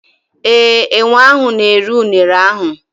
ee, enwe ahụ na-eri Unere ahụ.